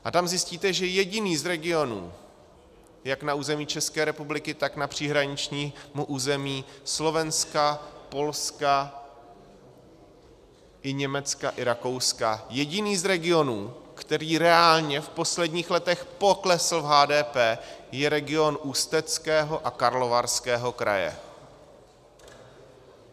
A tam zjistíte, že jediný z regionů jak na území České republiky, tak na příhraničním území Slovenska, Polska i Německa i Rakouska, jediný z regionů, který reálně v posledních letech poklesl v HDP, je region Ústeckého a Karlovarského kraje.